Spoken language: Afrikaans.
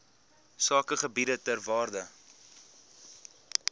sakegebiede ter waarde